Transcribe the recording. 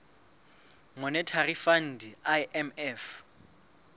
monetary fund imf